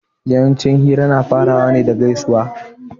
Yawanci hira na farawa ne da gaisuwa